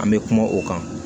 An bɛ kuma o kan